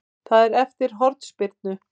Það er eftir hornspyrnu.